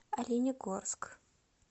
оленегорск